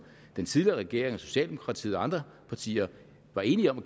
den tidligere regering socialdemokratiet og andre partier var enige om